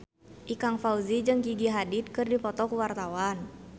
Ikang Fawzi jeung Gigi Hadid keur dipoto ku wartawan